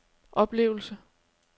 oplevelse